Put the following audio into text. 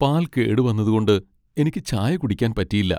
പാൽ കേടുവന്നതുകൊണ്ട് എനിക്ക് ചായ കുടിക്കാൻ പറ്റിയില്ല.